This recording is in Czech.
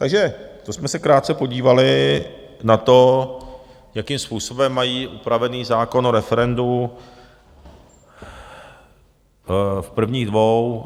Takže to jsme se krátce podívali na to, jakým způsobem mají upravený zákon o referendu v prvních dvou...